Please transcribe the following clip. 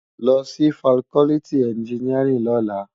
Lò si fákòlìtí ènjìníárìn lòlá